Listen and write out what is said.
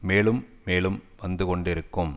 மேலும் மேலும் வந்து கொண்டிருக்கும்